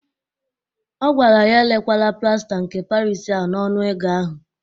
Ọ gwara ya erekwala plasta nke Paris ahụ n'ọnụ ego ahụ!